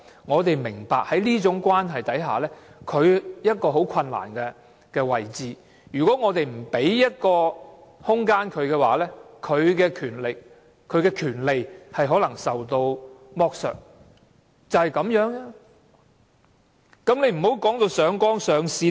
我們明白在這種關係下，同性伴侶處於一個很困難的位置，如果我們不為他們提供保障，他們的權利可能受到剝削，就是這樣的意思。